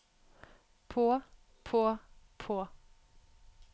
på på på